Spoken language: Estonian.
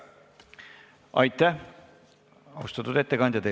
Aitäh, austatud ettekandja!